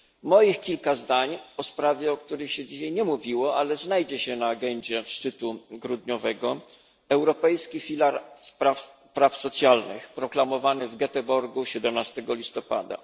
Moich kilka zdań o sprawie, o której się dzisiaj nie mówiło, ale która znajdzie się na agendzie szczytu grudniowego europejski filar praw socjalnych proklamowany w Goeteborgu 17 listopada.